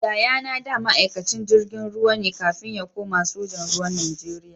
Yayana da ma'aikacin jirgin ruwa ne kafin ya kuma sojan ruwa Najeriya.